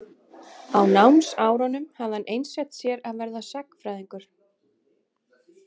Á námsárunum hafði hann einsett sér að verða sagnfræðingur.